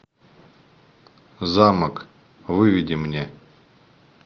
замок выведи мне